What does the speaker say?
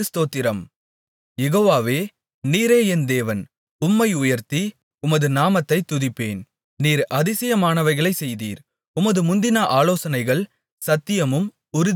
யெகோவாவே நீரே என் தேவன் உம்மை உயர்த்தி உமது நாமத்தைத் துதிப்பேன் நீர் அதிசயமானவைகளைச் செய்தீர் உமது முந்தின ஆலோசனைகள் சத்தியமும் உறுதியுமானவைகள்